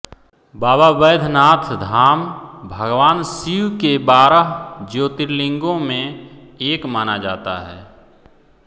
बाबा बैद्यनाथ धाम भगवान शिव के बारह ज्योतिर्लिंगों में एक माना जाता है